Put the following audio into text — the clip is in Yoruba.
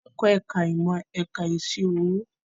Akẹ́kọ̀ọ́ ẹ̀ka ìmọ̀ ẹ̀kọ́ ìṣirò owó